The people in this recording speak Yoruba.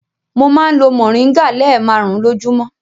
Mo máa ń lo mòríngà lẹ́ẹ̀marùn-ún lójúmọ́.